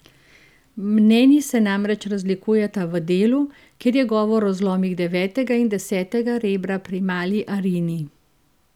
Mnenji se namreč razlikujeta v delu, kjer je govor o zlomih devetega in desetega rebra pri mali Arini.